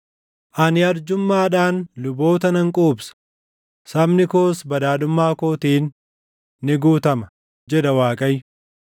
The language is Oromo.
Ani arjummaadhaan luboota nan quubsa; sabni koos badhaadhummaa kootiin ni guutama,” jedha Waaqayyo.